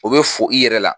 O bɛ fo i yɛrɛ la